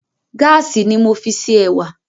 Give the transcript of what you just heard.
Gáàsì ni mo fi ṣe ẹ̀wà